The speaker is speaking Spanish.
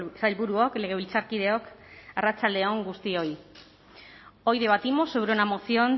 sailburuok legebiltzarkideok arratsalde on guztioi hoy debatimos sobre una moción